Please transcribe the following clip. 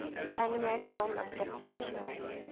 anime film adaptation